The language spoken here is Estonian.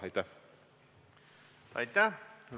Aitäh!